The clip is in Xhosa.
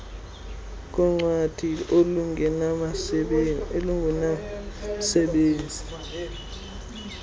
nokugcinwa koncwadi olungenamsebenzi